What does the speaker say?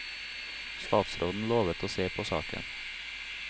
Statsråden lovet å se på saken.